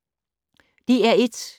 DR1